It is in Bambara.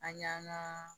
An y'an ka